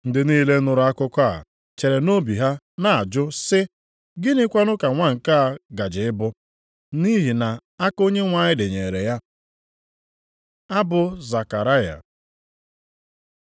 Ndị niile nụrụ akụkọ a chere nʼobi ha na-ajụ sị, “Gịnịkwa ka nwa nke a gaje ịbụ?” Nʼihi na aka Onyenwe anyị dịnyeere ya. Abụ Zekaraya